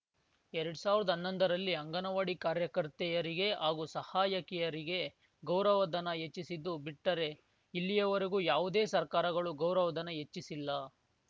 ಎರಡ್ ಸಾವಿರ್ದಾ ಹನ್ನೊಂದರಲ್ಲಿ ಅಂಗನವಾಡಿ ಕಾರ್ಯಕರ್ತೆಯರಿಗೆ ಹಾಗೂ ಸಹಾಯಕಿಯರಿಗೆ ಗೌರವಧನ ಹೆಚ್ಚಿಸಿದ್ದು ಬಿಟ್ಟರೆ ಇಲ್ಲಿಯವರೆಗೂ ಯಾವುದೇ ಸರ್ಕಾರಗಳು ಗೌರವಧನ ಹೆಚ್ಚಿಸಿಲ್ಲ